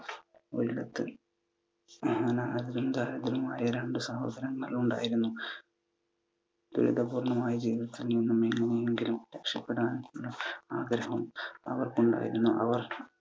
ഒരിടത്തു അനാഥരും ദരിദ്രരുമായ രണ്ടു സഹോദരന്മാരുണ്ടായിരുന്നു. ദുരിതപൂർണമായ ജീവിതത്തിൽ നിന്നും എന്നെങ്കിലും രക്ഷപ്പെടുവാൻ ആഗ്രഹം അവർക്കുണ്ടായിരുന്നു. അവർ